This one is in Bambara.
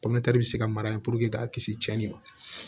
bɛ se ka mara k'a kisi cɛnni ma